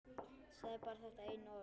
Sagði bara þetta eina orð.